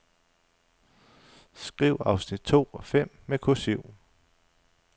Skriv afsnit to og fem med kursiv.